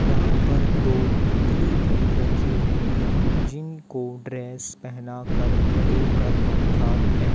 यहां पर दो पुतले भी रखे हुए हैं जिनको ड्रेस पहना कर खड़े कर रखा है।